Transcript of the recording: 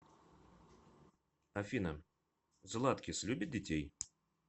афина златкис любит детей